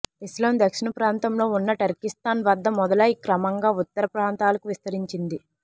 ఇస్లాం దక్షిణప్రాంతంలో ఉన్న టర్కీస్తాన్ వద్ద మొదలై క్రమంగా ఉత్తరప్రాంతాలకు విస్తరించింది